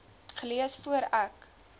gelees voor ek